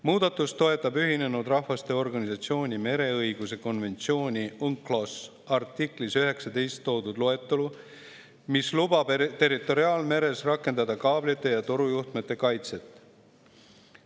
" Muudatust toetab Ühinenud Rahvaste Organisatsiooni mereõiguse konventsiooni UNCLOS artiklis 19 toodud loetelu, mis lubab territoriaalmeres rakendada kaablite ja torujuhtmete kaitset.